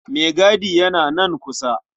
Maigadi yana nan kusa.